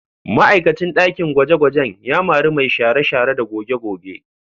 Ma'aikacin ɗakin gwaje-gwajen ya mari mai share-share da goge-goge